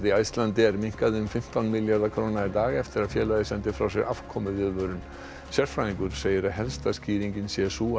Icelandair minnkaði um fimmtán milljarða króna í dag eftir að félagið sendi frá sér afkomuviðvörun sérfræðingur segir að helsta skýringin sé sú að